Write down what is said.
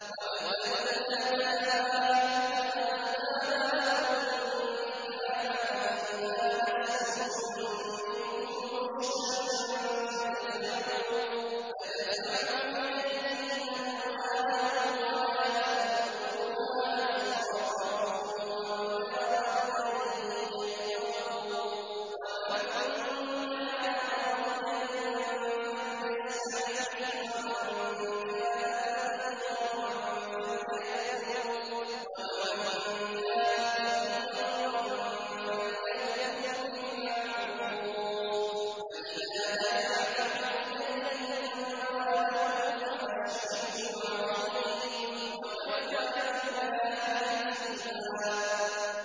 وَابْتَلُوا الْيَتَامَىٰ حَتَّىٰ إِذَا بَلَغُوا النِّكَاحَ فَإِنْ آنَسْتُم مِّنْهُمْ رُشْدًا فَادْفَعُوا إِلَيْهِمْ أَمْوَالَهُمْ ۖ وَلَا تَأْكُلُوهَا إِسْرَافًا وَبِدَارًا أَن يَكْبَرُوا ۚ وَمَن كَانَ غَنِيًّا فَلْيَسْتَعْفِفْ ۖ وَمَن كَانَ فَقِيرًا فَلْيَأْكُلْ بِالْمَعْرُوفِ ۚ فَإِذَا دَفَعْتُمْ إِلَيْهِمْ أَمْوَالَهُمْ فَأَشْهِدُوا عَلَيْهِمْ ۚ وَكَفَىٰ بِاللَّهِ حَسِيبًا